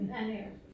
Ja det jeg også